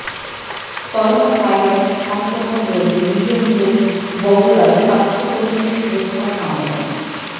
coronavirus সংক্রমণ রোধে নিজ জেলা বগুড়ায় স্বাস্থ্যকর্মীদের সুরক্ষা সামগ